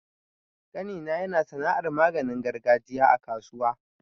ƙanina yana sana'ar maganin gargajiya a kasuwa.